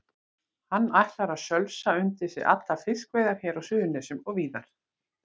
Hann ætlar að sölsa undir sig allar fiskveiðar hér á Suðurnesjum og víðar.